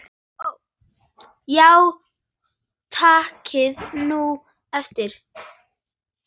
Já takið nú eftir.